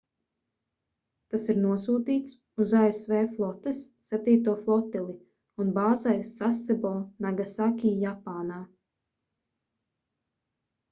tas ir nosūtīts uz asv flotes septīto flotili un bāzējas sasebo nagasaki japānā